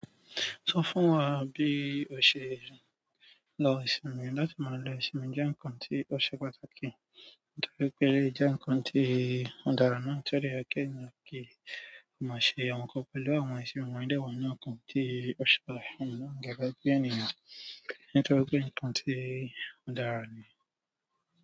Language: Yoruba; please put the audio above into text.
Sọ fún wa bí o ṣe ń lo ìsinmi, láti máa lo ìsinmi jẹ́ ǹkan tí ó ṣe pàtàkì. Nítorí pé lè o jẹ́ ǹkan tí ó dára náà ń dẹ yẹ ki ènìyàn kí o má ṣe amọ kan pẹ̀lú àwọn ìsinmi wọ̀nyí dáwọ́ ní ǹkan tí ó ṣe pàtàkì ní gẹ́gẹ́ bí ènìyàn, nítorí pé ǹkan tí ó dára ní.